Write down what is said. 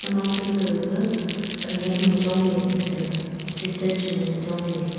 nokphai ka gaga khanyak nu chongley ley taga sister chu nganley chongley ley.